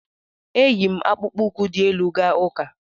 E yi m akpụkpọ ụkwụ dị elu gaa ụka.